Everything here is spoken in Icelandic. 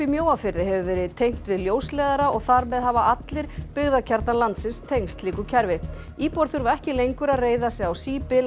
í Mjóafirði hefur verið tengt við ljósleiðara og þar með hafa allir byggðakjarnar landsins tengst slíku kerfi íbúar þurfa ekki lengur að reiða sig á